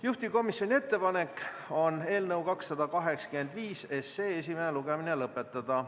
Juhtivkomisjoni ettepanek on eelnõu 285 esimene lugemine lõpetada.